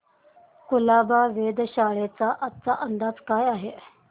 कुलाबा वेधशाळेचा आजचा अंदाज काय आहे